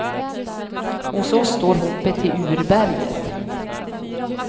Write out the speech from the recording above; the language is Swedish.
Hos oss står hoppet till urberget.